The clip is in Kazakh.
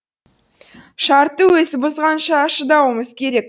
шартты өзі бұзғанша шыдауымыз керек